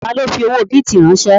Ta ló fi owó bìtì ránsẹ́?